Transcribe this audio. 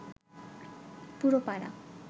পুরো পাড়া